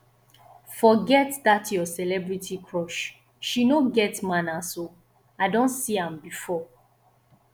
forget dat your celebrity crush she no get manners oo i don see am before